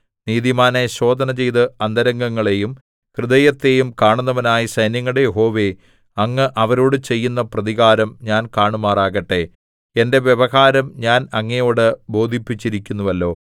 നീതിമാനെ ശോധനചെയ്ത് അന്തരംഗങ്ങളെയും ഹൃദയത്തെയും കാണുന്നവനായ സൈന്യങ്ങളുടെ യഹോവേ അങ്ങ് അവരോടു ചെയ്യുന്ന പ്രതികാരം ഞാൻ കാണുമാറാകട്ടെ എന്റെ വ്യവഹാരം ഞാൻ അങ്ങയോടു ബോധിപ്പിച്ചിരിക്കുന്നുവല്ലോ